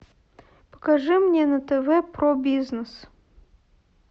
покажи мне на тв про бизнес